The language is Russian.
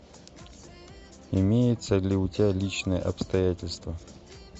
имеется ли у тебя личные обстоятельства